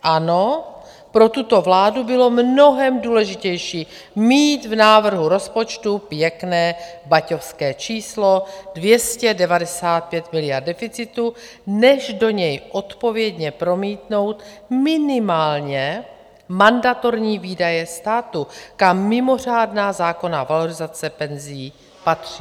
Ano, pro tuto vládu bylo mnohem důležitější mít v návrhu rozpočtu pěkné baťovské číslo 295 miliard deficitu, než do něj odpovědně promítnout minimálně mandatorní výdaje státu, kam mimořádná zákonná valorizace penzí patří.